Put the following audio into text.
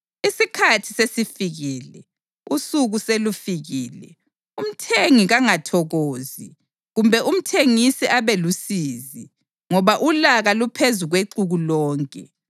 Isikhathi sesifikile, usuku selufikile. Umthengi kangathokozi kumbe umthengisi abe lusizi, ngoba ulaka luphezu kwexuku lonke.